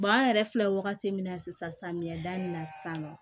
an yɛrɛ filɛ wagati min na sisan samiya da in na sisan nɔ